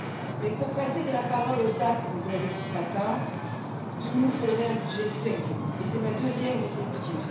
Mais, pour passer de la parole aux actes comme vous l'avez dit ce matin il nous faudrait un budget sérieux et c'est ma deuxième déception.